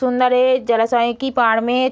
सुंदर है जलासय की पार में --